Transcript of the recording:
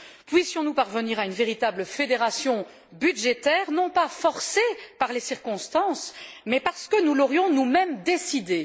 Puissions nous parvenir à une véritable fédération budgétaire, non pas forcée par les circonstances, mais parce que nous l'aurions nous mêmes décidée.